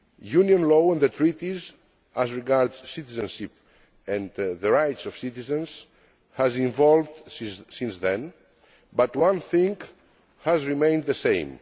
Union law and the Treaties, as regards citizenship and the rights of citizens, have evolved since then, but one thing has remained the same.